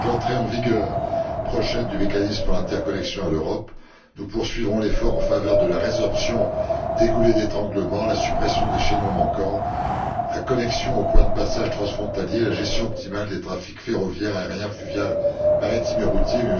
Avec l'entrée en vigueur prochaine du mécanisme pour l'interconnexion en Europe, nous poursuivrons l'effort en faveur de la résorption des goulets d'étranglement, la suppression des chaînons manquants, la connexion aux points de passage transfrontaliers, la gestion optimale des trafics ferroviaire, aérien, fluvial, maritime et routier.